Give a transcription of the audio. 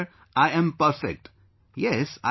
Sir, I am perfect...Yes